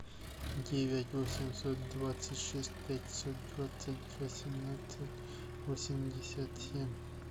девять восемьсот двадцать шесть пятьсот двадцать восемнадцать восемьдесят семь